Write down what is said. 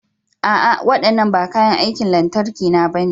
A'a! Waɗannan ba kayan aikin lantarki na bane.